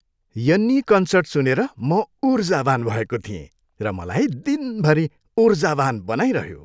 यन्नी concert सुनेर म उर्जावान भएको थिएँ र मलाई दिनभरि उर्जावान बनाइरह्यो।